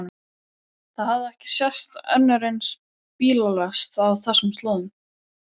Það hafði ekki sést önnur eins bílalest á þessum slóðum.